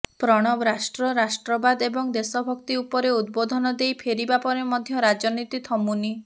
ପ୍ରଣବ ରାଷ୍ଟ୍ର ରାଷ୍ଟ୍ରବାଦ ଏବଂ ଦେଶଭକ୍ତି ଉପରେ ଉଦବୋଧନ ଦେଇ ଫେରିବା ପରେ ମଧ୍ୟ ରାଜନୀତି ଥମୁନି